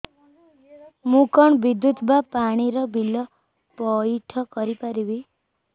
ମୁ କଣ ବିଦ୍ୟୁତ ବା ପାଣି ର ବିଲ ପଇଠ କରି ପାରିବି